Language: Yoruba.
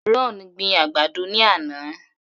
Ron gbin àgbàdo ní àná.